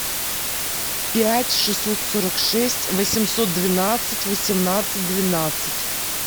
пять шестьсот сорок шесть восемьсот двенадцать восемнадцать двенадцать